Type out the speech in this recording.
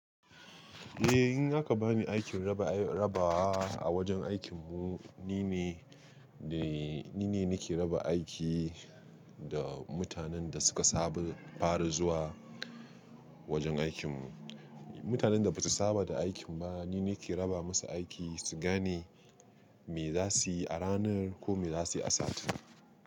Eh in aka bani aikin raba, raba a wajen aikinmu nine, nine nake raba aiki da mutanen da suka sabon fara zuwa wajen aikinmu. Mutanen da basu saba da aikin ba nine nake raba musu aiki su gane me za su yi a ranar ko me za su yi a satin.